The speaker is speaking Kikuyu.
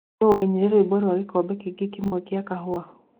Nũũ waĩnĩre rwĩmbo rwa gĩkombe kĩngĩ kĩmwe gĩa kahũa